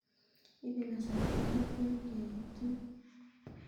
Ibe kasarta netian keit yuun